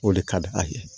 O de ka di a ye